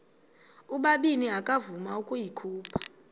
ubabini akavuma ukuyikhupha